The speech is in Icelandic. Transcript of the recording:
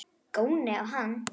Góni á hana.